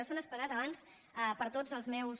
s’han esperat abans per tots els meus